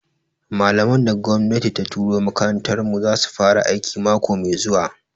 Malaman da gwamnati ta turo makarantar mu zasu fara aiki mako mai zuwa